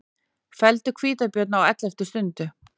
Felldu hvítabjörn á elleftu stundu